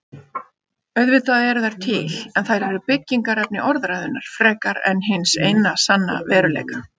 Auðvitað eru þær til en þær eru byggingarefni orðræðunnar frekar en hins eina sanna veruleika.